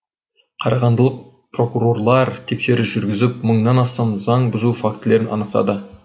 қарағандылық прокурорлар тексеріс жүргізіп мыңнан астам заң бұзу фактілерін анықтады